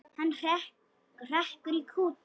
Hann hrekkur í kút.